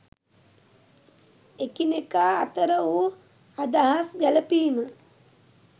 එකිනෙකා අතර වූ අදහස් ගැලපීම